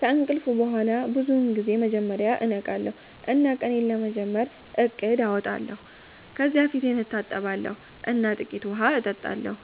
ከእንቅልፍ በኋላ ብዙውን ጊዜ መጀመሪያ እነቃለሁ እና ቀኔን ለመጀመር እቅድ አወጣለሁ። ከዚያ ፊቴን እታጠባለሁ እና ጥቂት ውሃ እጠጣለሁ።